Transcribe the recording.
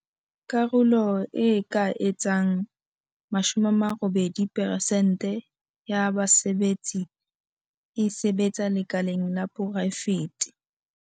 Karolo e ka etsang 80 peresente ya basebetsi e sebetsa lekaleng la poraefete.